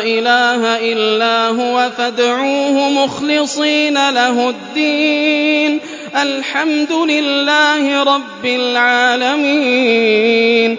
إِلَٰهَ إِلَّا هُوَ فَادْعُوهُ مُخْلِصِينَ لَهُ الدِّينَ ۗ الْحَمْدُ لِلَّهِ رَبِّ الْعَالَمِينَ